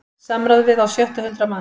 Samráð við á sjötta hundrað manns